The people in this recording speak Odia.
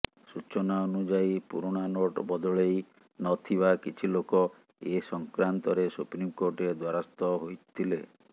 ସୂଚନା ଅନୁଯାୟୀ ପୁରୁଣାନୋଟ ବଦଳେଇ ନ ଥିବା କିଛି ଲୋକ ଏ ସଂକ୍ରାନ୍ତରେ ସୁପ୍ରିମ କୋର୍ଟରେ ଦ୍ୱାରସ୍ଥ ହୋଇଥିଲେ